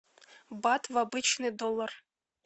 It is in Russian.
бат в обычный доллар